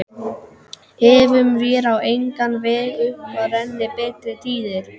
Efum vér á engan veg upp að renni betri tíðir